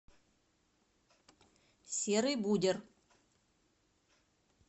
серый будер